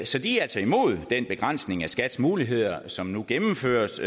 så de er altså imod den begrænsning af skats muligheder som nu gennemføres